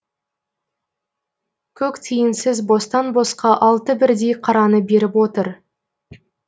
көк тиынсыз бостан босқа алты бірдей қараны беріп отыр